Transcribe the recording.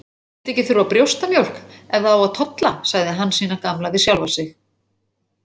Skyldi ekki þurfa brjóstamjólk ef það á að tolla, sagði Hansína gamla við sjálfa sig.